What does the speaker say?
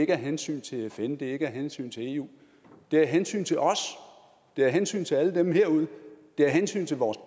er af hensyn til fn og det er ikke af hensyn til eu det er af hensyn til os det er af hensyn til alle dem derude det er af hensyn til vores